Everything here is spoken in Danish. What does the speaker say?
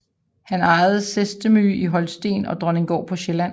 Han ejede Seestermühe i Holsten og Dronninggård på Sjælland